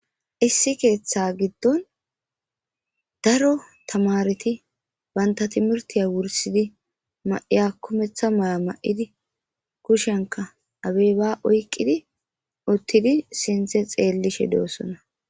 issi keeththa giddon daro tamareti banta timirtiya wursidi ma7iya kumeththa maya ma7idi kushenka abey ba oyqqidi uttidi sinthe xeellishe doossona